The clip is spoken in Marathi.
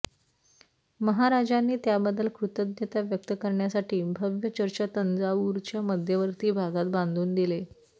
महाराजांनी त्याबद्दल कृतज्ञता व्यक्त करण्यासाठी भव्य चर्च तंजावूरच्या मध्यवर्ती भागात बांधून दिले